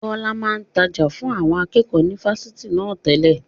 Bọlá máa ń tája fún àwọn akẹ́kọ̀ọ́ ni Fásitì na tẹ́lẹ̀.